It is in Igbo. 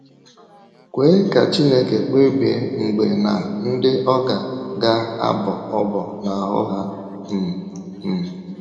Kwee ka Chineke kpebie mgbe na ndị ọ ga - ga - abọ ọ́bọ̀ n’ahụ́ ha um. um